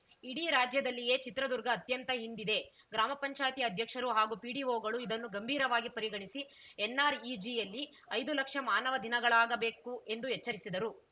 ಇಡೀ ರಾಜ್ಯದಲ್ಲಿಯೇ ಚಿತ್ರದುರ್ಗ ಅತ್ಯಂತ ಹಿಂದಿದೆ ಗ್ರಾಮ ಪಂಚಾಯತಿ ಅಧ್ಯಕ್ಷರು ಹಾಗೂ ಪಿಡಿಒಗಳು ಇದನ್ನು ಗಂಭೀರವಾಗಿ ಪರಿಗಣಿಸಿ ಎನ್‌ಆರ್‌ಇಜಿಯಲ್ಲಿ ಐದು ಲಕ್ಷ ಮಾನವ ದಿನಗಳಾಗಬೇಕು ಎಂದು ಎಚ್ಚರಿಸಿದರು